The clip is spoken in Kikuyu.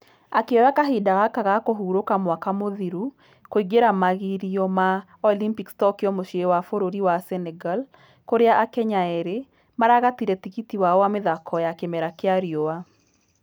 Akĩoya kahinda gaka ga kũhurũka mwaka mũthiru kũingĩra magĩrio ma olympics tokyo muciĩ wa bũrũri wa senegal kũrĩa akenya ĩrĩ .....maragatire tigiti wao wa mĩthako ya kĩmera gĩa riua.